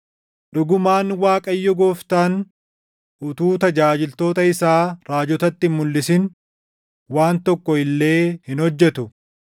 Dhugumaan Waaqayyo Gooftaan utuu tajaajiltoota isaa raajotatti hin mulʼisin waan tokko illee hin hojjetu.